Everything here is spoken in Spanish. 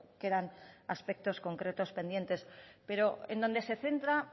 quedan aspectos concretos pendientes pero en donde se centra